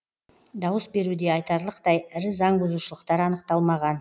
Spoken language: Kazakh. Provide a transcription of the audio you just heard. дауыс беруде айтарлықтай ірі заңбұзушылықтар анықталмаған